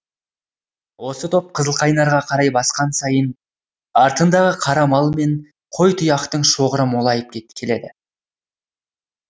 осы топ қызылқайнарға қарай басқан сайын артындағы қара мал мен қой тұяқтың шоғыры молайып келеді